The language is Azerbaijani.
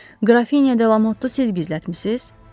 Qrafinya de Lamottu siz gizlətmisiz?